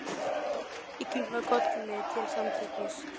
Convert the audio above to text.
Ég kinkaði kolli til samþykkis.